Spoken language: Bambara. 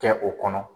Kɛ o kɔnɔ